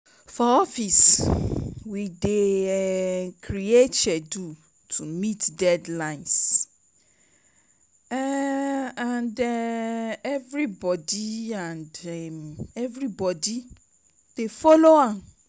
For office, we dey um create schedule to meet deadlines um and um everybodi and um everybodi dey folo am.